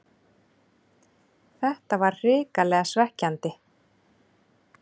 Þetta var hrikalega svekkjandi